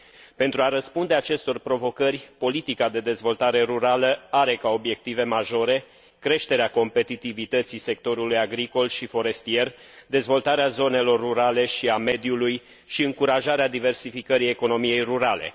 Pentru a răspunde acestor provocări, politica de dezvoltare rurală are ca obiective majore creșterea competitivității sectorului agricol și forestier, dezvoltarea zonelor rurale și a mediului și încurajarea diversificării economiei rurale.